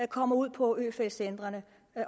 kommer ud på øfeldt centrene